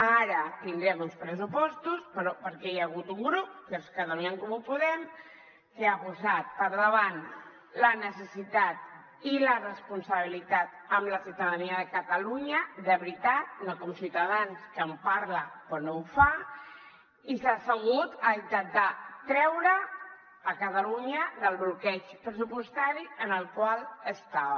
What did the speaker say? ara tindrem uns pressupostos però perquè hi ha hagut un grup que és catalunya en comú podem que ha posat per davant la necessitat i la responsabilitat amb la ciutadania de catalunya de veritat no com ciutadans que en parla però no ho fa i s’ha assegut a intentar treure catalunya del bloqueig pressupostari en el qual estava